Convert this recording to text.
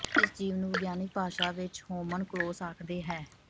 ਇਸ ਜੀਵ ਨੂੰ ਵਿਗਿਆਨਕ ਭਾਸ਼ਾ ਵਿੱਚ ਹੋਮਨਕਲੋਸ ਆਖਦੇ ਹੈ